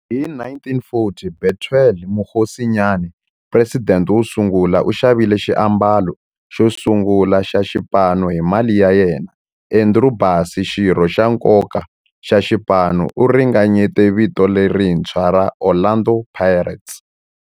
Hi 1940, Bethuel Mokgosinyane, president wosungula, u xavile xiambalo xosungula xa xipano hi mali ya yena. Andrew Bassie, xirho xa nkoka xa xipano, u ringanyete vito lerintshwa ra 'Orlando Pirates'.